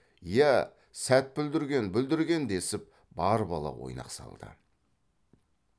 иә сәт бүлдірген бүлдірген десіп бар бала ойнақ салды